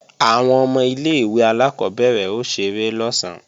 Àwọn ọmọ ilé-ìwé alákọ́bẹ̀rẹ̀ ó ṣeré lọ̀sán